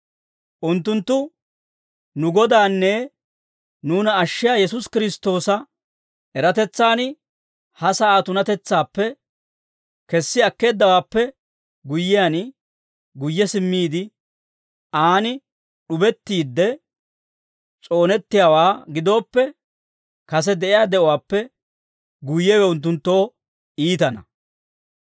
Unttunttu nu Godaanne nuuna ashshiyaa Yesuusi Kiristtoosa eratetsan ha sa'aa tunatetsaappe kessi akkeeddawaappe guyyiyaan, guyye simmiide, aan d'ubettiide s'oonettiyaawaa gidooppe, kase de'iyaa de'uwaappe guyyewe unttunttoo iitana.